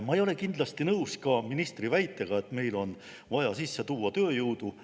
Ma ei ole kindlasti nõus ka ministri väitega, et meil on vaja sisse tuua tööjõudu.